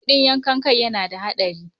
Kuɗin yankan kai yana da haɗari.